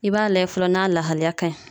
I b'a lajɛ fɔlɔ n'a lahaliya ka ɲi.